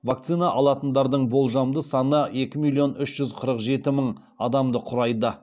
вакцина алатындардың болжамды саны екі миллион үш жүз қырық жеті мың адамды құрайды